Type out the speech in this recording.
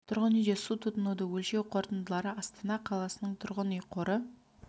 тұрғын үйде су тұтынуды өлшеу қорытындылары астана қаласының тұрғын үй қоры